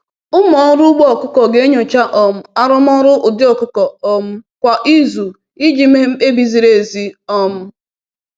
“Ụmụ ọrụ ugbo ọkụkọ ga-enyocha um arụmọrụ ụdị ọkụkọ um kwa izu iji mee mkpebi ziri ezi.” um